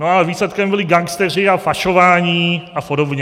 No ale výsledkem byli gangsteři a pašování a podobně.